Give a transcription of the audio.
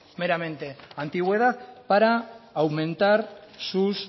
meramente antigüedad para aumentar sus